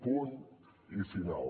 punt i final